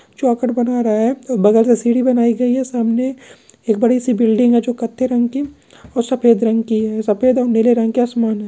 चोघट बना रहा है बगल से सीडी बनाई गई है एक बड़ी सी बिल्डिंग हैजो कथे रंग की और सफेद रंग की है सफेद और नीले रंग का सामान है।